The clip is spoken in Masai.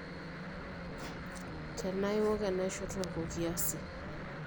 tenaa iok enaisho tooko kiasi